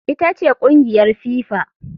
Ita ce kungiyar FIFA.